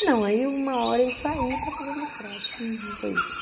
Ah, não, aí uma hora eu saí para fazer o mestrado, foi isso.